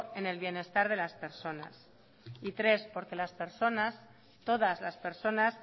en el bienestar de las personas y tres porque las personas todas las personas